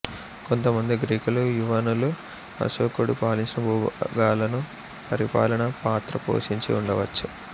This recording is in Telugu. కొంతమంది గ్రీకులు యవనులు అశోకుడు పాలించిన భూభాగాలలో పరిపాలనా పాత్ర పోషించి ఉండవచ్చు